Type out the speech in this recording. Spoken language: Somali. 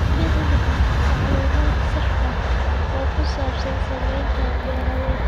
Bixi macluumaad sax ah oo ku saabsan saamaynta beeralayda.